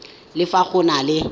le fa go na le